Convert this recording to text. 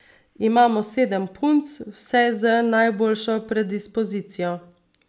Imamo sedem punc, vse z najboljšo predispozicijo.